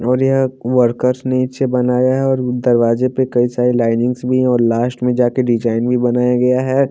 और यहाँ वर्कर्स ने इससे बनाया है और दरवाजे पे कई सारे लाइनिंग्स भी है और लास्ट में जा के डिजाइन भी बनाया गया है।